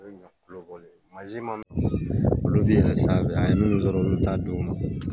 olu bɛ san minnu sɔrɔ olu t'a don u ma